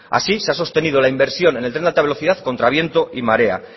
así se ha sostenido la inversión del tren de alta velocidad contra viento y marea